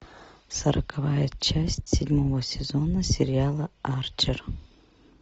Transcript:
сороковая часть седьмого сезона сериала арчер